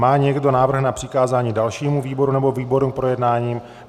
Má někdo návrh na přikázání dalšímu výboru nebo výborům k projednání?